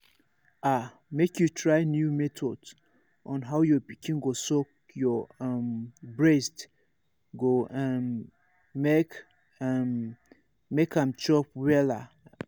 ah make you try new method on how your pikin go suck your um breast go um make um make am chop wella um